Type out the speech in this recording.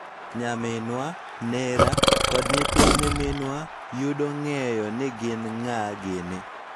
Nyaminwa, nera, kod nyithind nyiminwa, yudo ng�eyo ni gin ng�a gini